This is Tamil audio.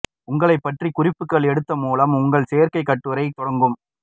உங்களை பற்றி குறிப்புகள் எடுத்து மூலம் உங்கள் சேர்க்கை கட்டுரை தொடங்கும்